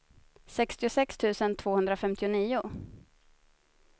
sextiosex tusen tvåhundrafemtionio